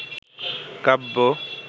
কাব্য